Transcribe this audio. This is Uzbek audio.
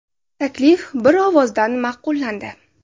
Taklif bir ovozdan ma’qullandi.